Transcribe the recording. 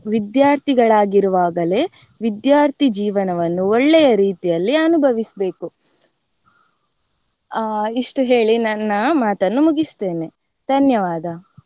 ವಿದ್ಯಾರ್ಥಿಗಳಗಿರುವಾಗಲೇ ವಿದ್ಯಾರ್ಥಿ ಜೀವನವನ್ನು ಒಳ್ಳೆಯ ರೀತಿಯಲ್ಲಿ ಅನುಭವಿಸ್ಬೇಕು ಆ ಇಷ್ಟು ಹೇಳಿ ನನ್ನ ಮಾತನ್ನು ಮುಗಿಸ್ತೇನೆ ಧನ್ಯವಾದ.